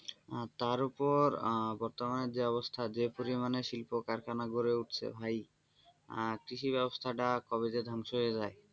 আহ তারপরও বর্তমানে যে অবস্থা যে পরিমাণের শিল্প-কারখানা গড়ে উঠছে ভাই আহ কৃষি ব্যবস্থা টা কবে যে ধ্বংস হয়ে যায়,